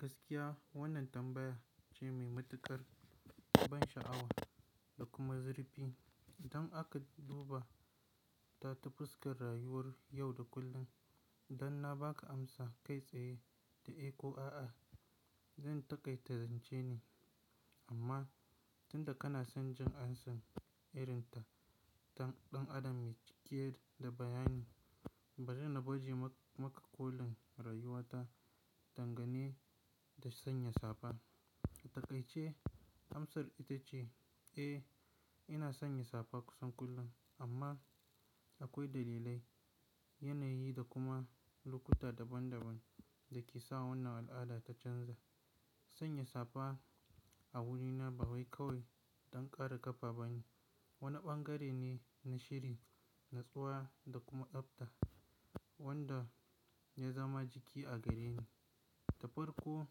Gaskiya wannan tambaya ce mai matuƙar ban sha'awa da kuma zurfi. Idan aka duba ta ta fuskar rayuwar yau da kullum. Dan na ba ka amsa kai tsaye da eh ko a'a, zan taƙaita zance ne. Amma tunda kana son jin ansan irin ta dan adam mai cike da bayani, bari na baje maka kolin rayuwa ta dangane da sanya safa. Taƙaice amsar ita ce eh, ina sanya safa kusan kullum amma akwai dalilai, yanayi da kuma lokuta daban daban dake sawa wannan al'ada ta canza. Sanya safa a wurina ba wai kawai don kare ƙafa ba ne. Wani bangare ne na shiri, natsuwa da kuma tsabta wanda ya zama jiki a gareni. Da farko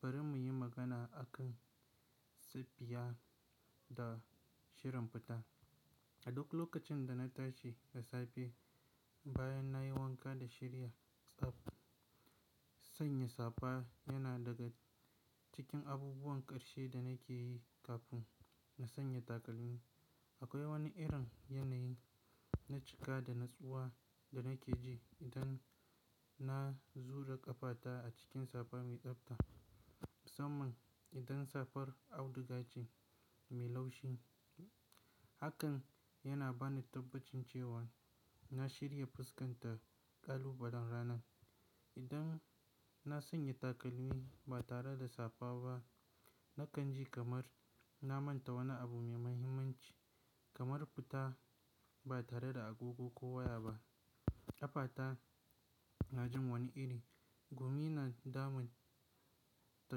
bari muyi magana akan silfiya da shirin fita. A duk lokacin da na tashi da safe, bayan nayi wanka da shirya tsab sanya safa yana daga cikin abubuwan ƙarshe da nake yi kafin na sanya takalmi. Akwai wani irin yanayi na cika da natsuwa da nake ji idan na zura ƙafata a cikin safa mai tsabta. Musamman idan safar audugace mai laushi. Hakan yana bani tabbacin cewan na shirya fuskarta ƙalubalen ranan. Idan na sanya takalmi ba tare da safa ba nakan ji kamar na manta wani abu mai muhimmanci kamar fita ba tare da agogo ko waya ba. Ƙafata na jin wani iri, gumi na damun ta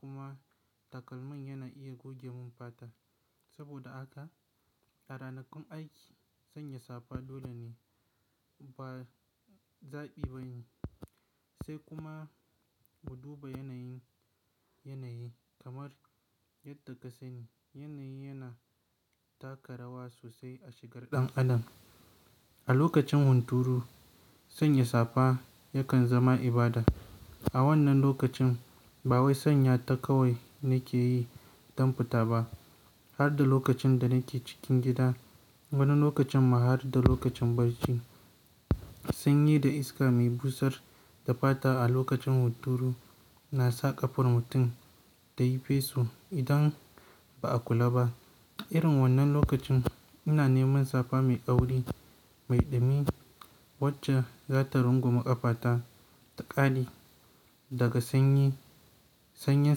kuma takalmin yana iya guje mun fata. Saboda haka a ranakun aiki sanya safa dole ne ba zaɓi ba ne. Sai kuma mu duba yanayin, yanayi kamar yadda ka sani yanayi yana taka rawa sosai a shigar ɗan adam. A lokacin hunturu sanya safa yakan zama ibada. A wannan lokacin ba wai sanya ta kawai nake yi don fita ba. Har da lokacin da nake cikin gida wani lokacin ma har da lokacin barci. Sanyi da iska mai busar da fata a lokacin hunturu na sa ƙafar mutum ta yi feso idan ba a kula ba. Irin wannan lokacin ina neman safa mai kauri mai ɗumi wacce za ta rungumi ƙafata ta ƙame daga sanyi, sanyen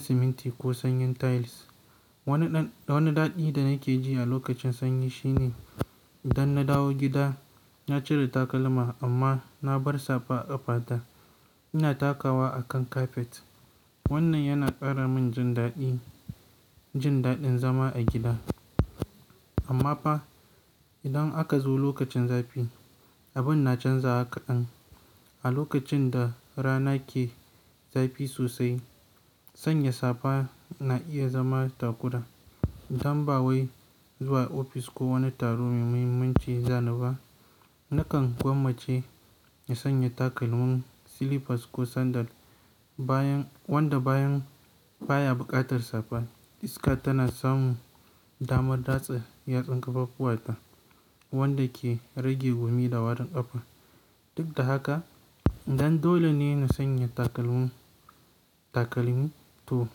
siminti ko sanyen tiles. Wani ɗan, wani daɗi da nake ji a lokacin sanyi shine idan na dawo gida na cire takalma amma na bar safa a ƙafata ina takawa a kan kafet. Wannan yana ƙara mun jin daɗi, jin daɗin zama a gida. Amma fa idan aka zo lokacin zafi abun na canza haka ɗan. A lokacin da rana ke zafi sosai sanya safa na iya zama takuda. Dan ba wai zuwa ofis ko wani taro mai muhimmanci zana ba. Nakan gwammace na sanya takalmin slippers ko sandal bayan wanda bayan baya buƙatar safa. Iska taka samun damar datsematssl wanda ke rage gumi da warinn ƙafa. Duk da haka idan dole ne na sanya takalmin, takalmi to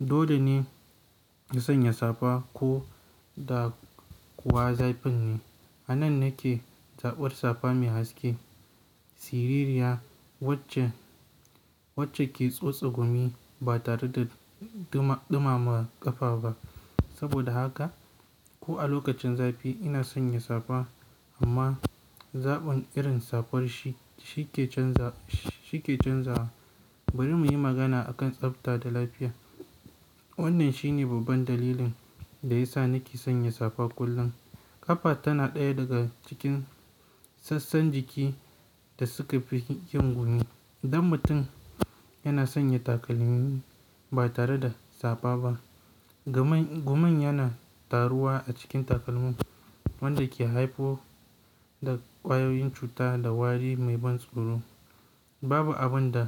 dole ne na sanya safa ko da kuwa zafin ne. Anan nake zaɓar safa mai haske, siririya wacce, wacce ke tsotse gumi ba tare da duma, ɗumama ƙafa ba. Saboda haka ko a lokacin zafi ina sanya safa amma zaɓin irin safar shi, shi ke canza, shi ke canzawa. Bari muyi magana akan tsafa danlafya. Wannan shine babban dalilin da yasa nake sanya safa kullum. Ƙafa tana ɗaya daga cikin sassan jiki da suka fi ƙin gumi. Dan mutum yana sanya takalmi ba tare da safa ba. Gaman, guman yana taruwa a cikin takalmin wanda ke haifo da ƙwayoyin cuta da wari mai ban tsoro. Babu abin da.